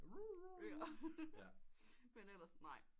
Men ellers nej